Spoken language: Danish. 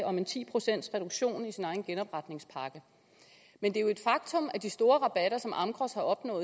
om en ti procentsreduktion i sin egen genopretningspakke men det er jo et faktum at de store rabatter som amgros har opnået